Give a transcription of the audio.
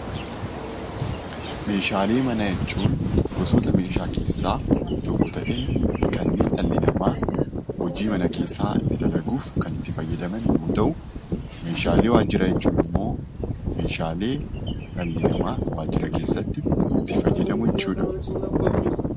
Meeshaalee manaa jechuun gosoota meeshaa keessaa tokko ta'ee kanneen dhalli namaa hojii mana keessaa itti dalaguuf kan itti fayyadaman yommuu ta'u meeshaalee waajjiraa jechuun immoo meeshaalee dhalli namaa waajjira keessatti itti fayyadamu jechuudha.